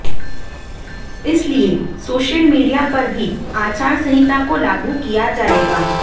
इसलिए social media पर भी आचार संहिता को लागू किया जाएगा